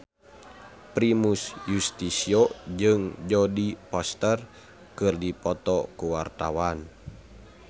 Primus Yustisio jeung Jodie Foster keur dipoto ku wartawan